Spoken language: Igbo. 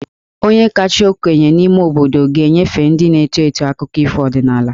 Onye kasị okenye n'ime obodo ga-enyefe ndị na-eto eto akụkọ ọdịnaala.